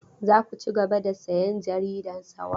Za ku cigaba da sayan jarida Sawaba?